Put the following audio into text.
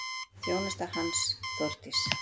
Þjónusta hans, Þórdís